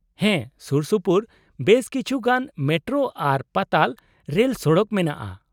-ᱦᱮᱸ, ᱥᱩᱨᱥᱩᱯᱩᱨ ᱵᱮᱥ ᱠᱤᱪᱷᱩ ᱜᱟᱱ ᱢᱮᱴᱨᱳ ᱟᱨ ᱯᱟᱛᱟᱞ ᱨᱮᱞᱥᱚᱲᱚᱠ ᱢᱮᱱᱟᱜᱼᱟ ᱾